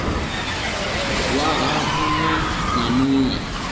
waha mu ṅ we na